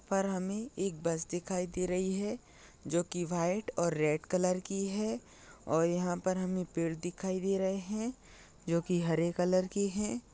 पर हमे एक बस दिखाई दे रही है जो की वाइट और रेड कलर की है और यहाँ पर हमे पेड़ दिखाई दे रहे है जोकि हरे कलर की है।